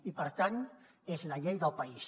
i per tant és la llei del país